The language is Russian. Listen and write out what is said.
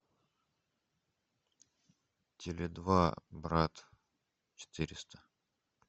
теле два брат четыреста